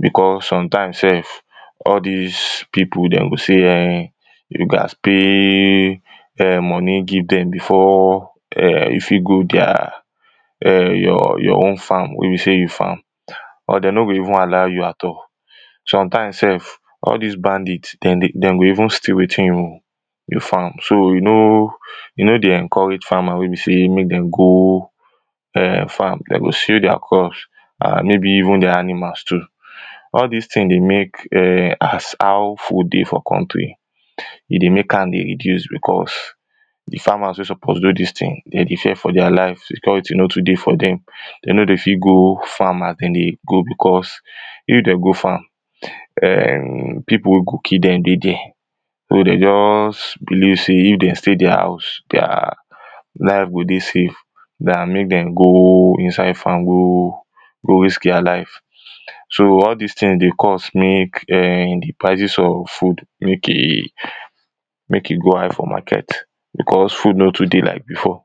because sometimes sef all dis pipu dem go say you gads pay moni give dem before you fit go dia your own farm wey be sey you farm or dey no go even allow you at all sometimes sef all dis bandit dem dey dem go even steal wetin you you farm so you no e no dey encourage farmer wey be sey make dem go farm dey go steal dia crops and maybe even dia animals too all dis tings dey make as how food dey for country e dey make am dey reduce because de farmers wey suppose do dis ting dem dey fear for dia life security no too dey for dem dey no dey fit go farm as dem dey go because if dem go farm pipu wey go kill dem dey der so dey just believe sey if dey stay dia house dia life go dey safe than make dem go inside farm go go risk dia life so all dis tings dey cause make de prices of food make e make e go high for market because food no too dey like before